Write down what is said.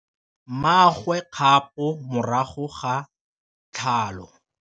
Mmagwe o kgapô morago ga tlhalô.